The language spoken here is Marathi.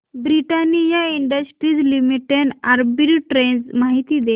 ब्रिटानिया इंडस्ट्रीज लिमिटेड आर्बिट्रेज माहिती दे